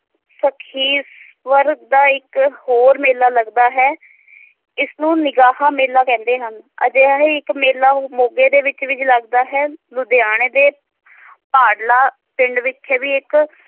ਸਖੀਸਵਰ ਦਾ ਇੱਕ ਹੋਰ ਮੇਲਾ ਲੱਗਦਾ ਹੈ ਇਸ ਨੂੰ ਨਿਗਾਹ ਮੇਲਾ ਕਹਿੰਦੇ ਹਨ ਅਜਿਹਾ ਹੀ ਇੱਕ ਮੇਲਾ ਮੋਗੇ ਦੇ ਵਿਚ ਵੀ ਲੱਗਦਾ ਹੈ ਲੁਧਿਆਣੇ ਦੇ ਭਾਡਲਾ ਪਿੰਡ ਵਿਖੇ ਵੀ ਇਕ